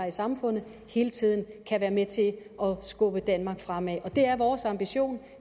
i samfundet hele tiden kan være med til at skubbe danmark fremad og det er vores ambition